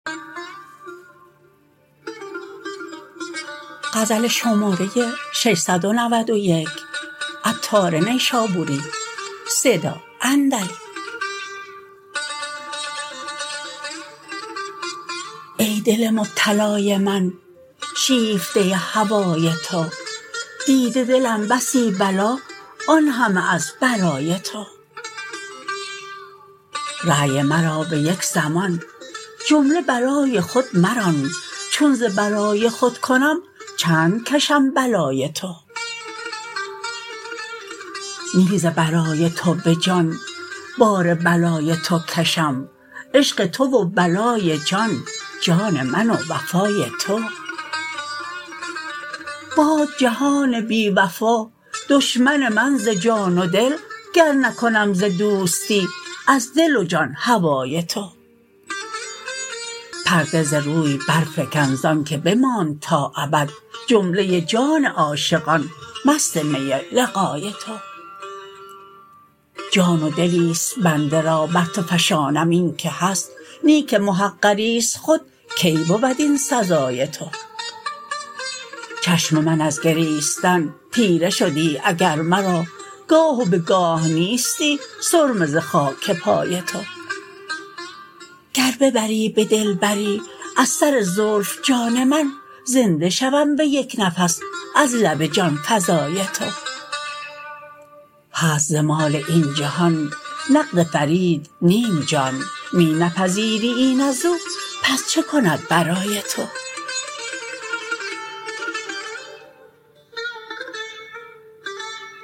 ای دل مبتلای من شیفته هوای تو دیده دلم بسی بلا آن همه از برای تو رای مرا به یک زمان جمله برای خود مران چون ز برای خود کنم چند کشم بلای تو نی ز برای تو به جان بار بلای تو کشم عشق تو و بلای جان جان من و وفای تو باد جهان بی وفا دشمن من ز جان و دل گر نکنم ز دوستی از دل و جان هوای تو پرده ز روی برفکن زانکه بماند تا ابد جمله جان عاشقان مست می لقای تو جان و دلی است بنده را بر تو فشانم اینکه هست نی که محقری است خود کی بود این سزای تو چشم من از گریستن تیره شدی اگر مرا گاه و به گاه نیستی سرمه ز خاک پای تو گر ببری به دلبری از سر زلف جان من زنده شوم به یک نفس از لب جانفزای تو هست ز مال این جهان نقد فرید نیم جان می نپذیری این ازو پس چه کند برای تو